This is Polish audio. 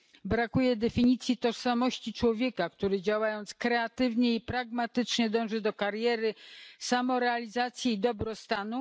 Brakuje definicji tożsamości człowieka, który, działając kreatywnie i pragmatycznie, dąży do kariery, samorealizacji i dobrostanu.